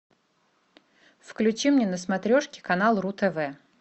включи мне на смотрешке канал ру тв